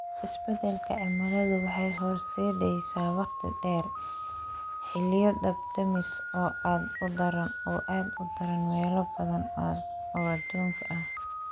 Isbeddelka cimiladu waxay horseedaysaa waqti dheer, xilliyo dab-damis oo aad u daran meelo badan oo adduunka ah.